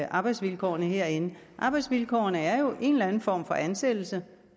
arbejdsvilkårene herinde arbejdsvilkårene er jo en eller anden form for ansættelse